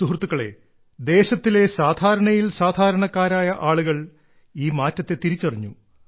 സുഹൃത്തുക്കളേ ദേശത്തിലെ സാധാരണയിൽ സാധാരണക്കാരായ ആളുകൾ ഈ മാറ്റത്തെ തിരിച്ചറിഞ്ഞു